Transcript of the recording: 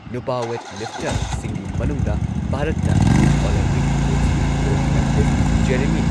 ꯅꯨꯄꯥ ꯋꯦꯠ ꯂꯤꯐꯇꯔꯁꯤꯡꯒꯤ ꯃꯅꯨꯡꯗ ꯚꯥꯔꯠꯅ ꯌꯨꯊ ꯑꯣꯂꯦꯝꯄꯤꯛ ꯒꯦꯝꯁꯀꯤ ꯒꯣꯜꯗ ꯃꯦꯗꯥꯂꯤꯁꯠ ꯖꯦꯔꯦꯃꯤ